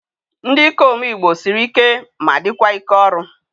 Ndị ikom igbo sịrị ike ma dịkwa ike ọrụ